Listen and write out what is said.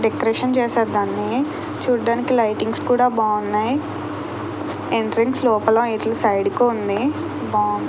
Decoration చేశారు. దాన్ని చూడడానికి లైటింగ్స్ కూడా బాగున్నాయి. ఎంట్రెన్స్ లోపల సైడ్ కి ఉంది.